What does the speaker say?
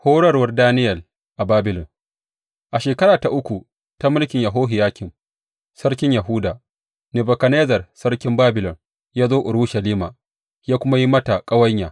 Horarwar Daniyel a Babilon A Shekara ta uku ta mulki Yehohiyakim sarkin Yahuda, Nebukadnezzar sarkin Babilon ya zo Urushalima ya kuma yi mata ƙawanya.